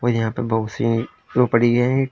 और यहां पे बहोत सी रोकड़ी है।